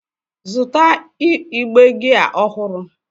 Zụta igbe gia ọhụrụ!